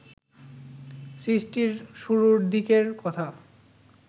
সৃষ্টির শুরুর দিকের কথা